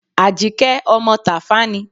Àjíkẹ́ ọmọ Tàfá ni.